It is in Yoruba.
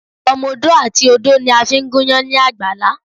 Ọmọ odó àti odó ni a fi ń gúnyán ní àgbàlá.